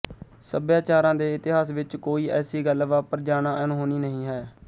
ਸਭਿਆਚਾਰਾਂ ਦੇ ਇਤਿਹਾਸ ਵਿੱਚ ਕੋਈ ਐਸੀ ਗੱਲ ਵਾਪਰ ਜਾਣਾ ਅਣਹੋਣੀ ਨਹੀਂ ਹੈ